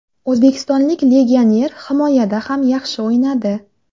O‘zbekistonlik legioner himoyada ham yaxshi o‘ynadi.